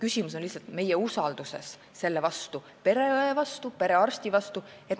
Küsimus on lihtsalt meie usalduses pereõe vastu ja perearsti vastu.